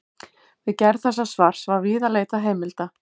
Við gerð þessa svars var víða leitað heimilda.